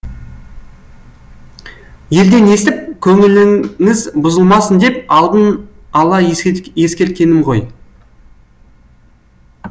елден естіп көңіліңіз бұзылмасын деп алдын ала ескерткенім ғой